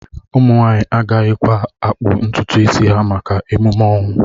Ụmụ nwanyị agaghịkwa akpụ ntutu isi ha maka ememe ọnwụ